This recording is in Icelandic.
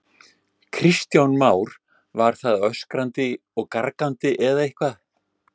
Kristján Már: Var það öskrandi og gargandi eða eitthvað?